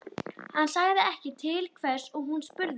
Hann sagði ekki til hvers og hún spurði ekki.